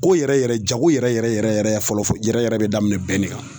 Ko yɛrɛ yɛrɛ jago yɛrɛ yɛrɛ yɛrɛ yɛrɛ fɔlɔ yɛrɛ yɛrɛ be daminɛ bɛn de kan